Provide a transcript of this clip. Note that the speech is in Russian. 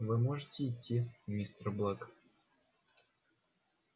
вы можете идти мистер блэк